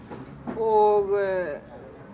og